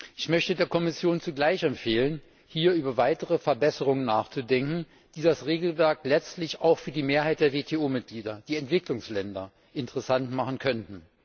Ich möchte der Kommission zugleich empfehlen, hier über weitere Verbesserungen nachzudenken, die das Regelwerk letztlich auch für die Mehrheit der WTO Mitglieder, die Entwicklungsländer, interessant machen könnten.